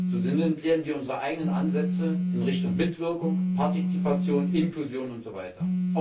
So sinnentleeren wir unsere eigenen Ansätze in Richtung Mitwirkung, Partizipation, Inklusion und so weiter.